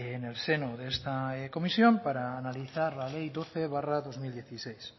en el seno de esta comisión para analizar la ley doce barra dos mil dieciséis